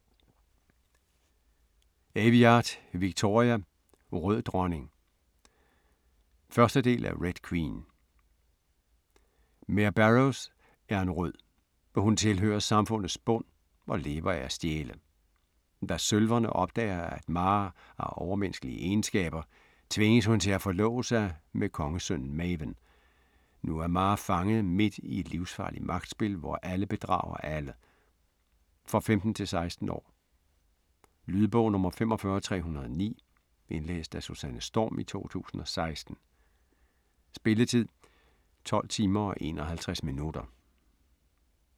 Aveyard, Victoria: Rød dronning 1. del af Red queen. Mare Barrows er en Rød. Hun tilhører samfundets bund, og lever af at stjæle. Da Sølverne opdager at Mare har overmenneskelige egenskaber, tvinges hun til at forlove sig med kongesønnen Maven. Nu er Mare fanget midt i et livsfarligt magtspil, hvor alle bedrager alle. For 15-16 år. Lydbog 45309 Indlæst af Susanne Storm, 2016. Spilletid: 12 timer, 51 minutter.